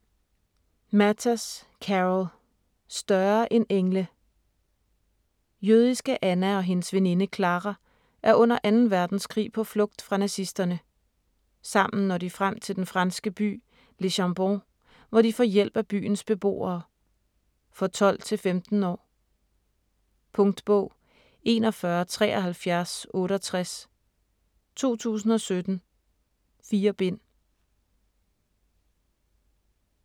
Matas, Carol: Større end engle Jødiske Anna og hendes veninde Klara er under 2. verdenskrig på flugt fra nazisterne. Sammen når de frem til den franske by Le Chambon, hvor de får hjælp af byens beboere. For 12-15 år. Punktbog 417368 2017. 4 bind.